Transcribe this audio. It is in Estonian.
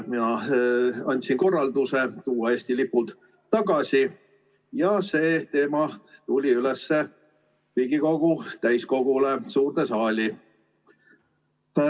Mina andsin korralduse tuua Eesti lipud tagasi ja see teema võeti üles Riigikogu täiskogus suures saalis.